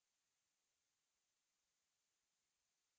set keyboard font पर click करें